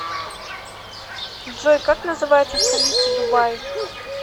джой как называется столица дубаи